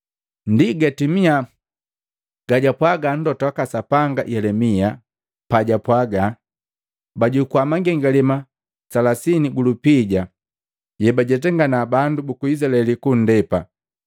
Ndi gatimia gajwapwaga mlota waka Sapanga Yelemia pajwapwaga, “Bajukua mangengalema makomi matatu gulupija yebajetangana bandu buku Izilaeli kundepe,